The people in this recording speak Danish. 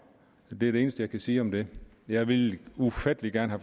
det er det eneste jeg kan sige om det jeg ville ufattelig gerne